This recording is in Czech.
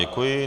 Děkuji.